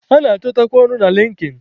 A na-achọtakwa ọrụ na Linkin.